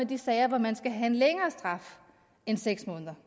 de sager hvor man skal have en længere straf end seks måneder